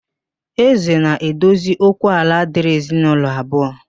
Ézē na-edozi okwu ala dịrị ezinaulọ abụọ